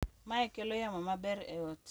Mae kelo yamo maber e ot